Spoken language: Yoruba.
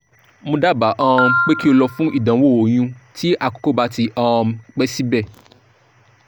mo daba um pe ki o lọ fun idanwo oyun ti akoko ba ti um pẹ sibẹ